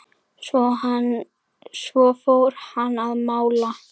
Svo fór hann að mála.